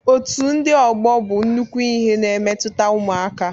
Otu ndị ọgbọ bụ nnukwu ihe na-emetụta ụmụaka